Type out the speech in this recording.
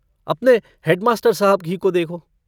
अपने हेडमास्टर साहब ही को देखो।